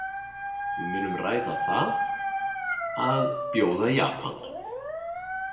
Við munum ræða það að bjóða Japan.